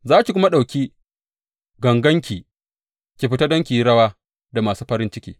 Za ki kuma ɗauki ganganki ki fita don ki yi rawa da masu farin ciki.